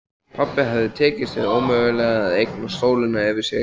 Pabba hafði tekist hið ómögulega: að eignast sólina fyrir sig.